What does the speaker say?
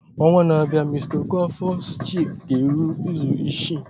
Ọnwa na-abịa mr okafors chicks ga-eru izu isii.